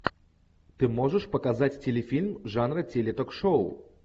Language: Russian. ты можешь показать телефильм жанра ток шоу